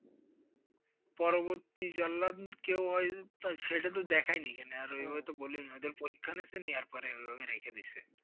পরবর্তী জল্লাদ কেও হয় সেটা তো দেখায়নি এখানে, আর ওদের পরীক্ষা নিয়েছে নেওয়ার পরে ওইভাবে রেখে দিয়েছে।